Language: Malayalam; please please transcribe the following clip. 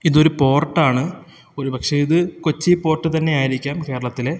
ഇതൊരു പോർട്ടാണ് ഒരു പക്ഷേ ഇത് കൊച്ചി പോർട്ട് തന്നെയായിരിക്കാം കേരളത്തിലെ.